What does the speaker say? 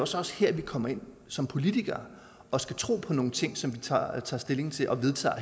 så også her vi kommer ind som politikere og skal tro på nogle ting som vi tager tager stilling til og vedtager